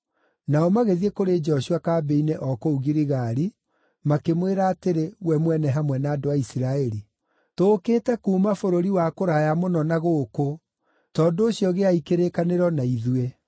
Nao magĩthiĩ kũrĩ Joshua kambĩ-inĩ o kũu Giligali, makĩmwĩra atĩrĩ we mwene hamwe na andũ a Isiraeli, “Tũũkĩte kuuma bũrũri wa kũraya mũno na gũkũ; tondũ ũcio gĩai kĩrĩkanĩro na ithuĩ.”